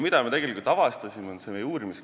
Mida me avastasime?